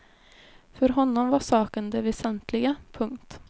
För honom var saken det väsentliga. punkt